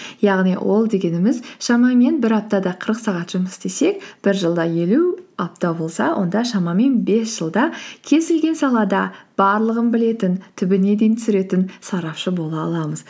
яғни ол дегеніміз шамамен бір аптада қырық сағат жұмыс істесек бір жылда елу апта болса онда шамамен бес жылда кез келген салада барлығын білетін түбіне дейін түсіретін сарапшы бола аламыз